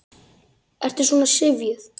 Ertu svona syfjuð?